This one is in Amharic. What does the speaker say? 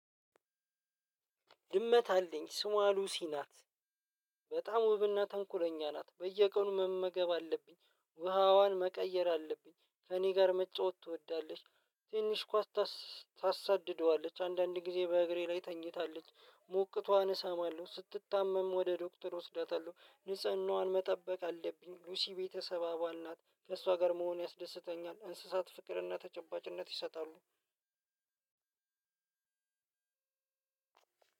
ድመት አለኝ ስምዋ ሉሲ ናት። በጣም ውብና ተንኮለኛ ናት። በየቀኑ መመገብ አለብኝ ውሃዋን መቀየር አለብኝ ከእኔ ጋር መጫወት ትወዳለች። ትንሽ ኳስ። ታሳድደዋለች አንዳንድ ጊዜ በእግሬ ላይ ትተኛለች። ሞቅቷን እሰማለሁ ስትታመም ወደ ዶክተር ወስዳታለሁ። ንጽህናዋን መጠበቅ አለብኝ ሉሲ የቤተሰብ አባል ናት። ከእሷ ጋር መሆን ያስደስተኛል። እንስሳት ፍቅርና ተጨባጭነት ይሰጣሉ።